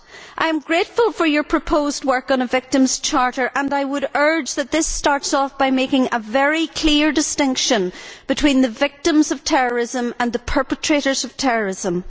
I am grateful for your proposed work on a Victims' Charter and I would urge that this starts off by making a very clear distinction between the victims of terrorism and the perpetrators of terrorism.